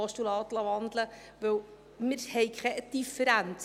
Denn wir haben eigentlich keine Differenz.